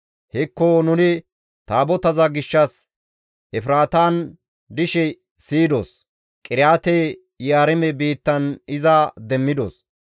Hekko nuni Taabotaza gishshas Efraatan dishe siyidos; Qiriyaate-Yi7aarime biittan iza demmidos.